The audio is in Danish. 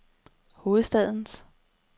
hovedstadens